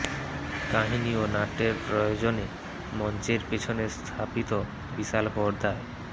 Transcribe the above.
কাহিনি ও নাট্যের প্রয়োজনে মঞ্চের পেছনে স্থাপিত বিশাল পর্দায়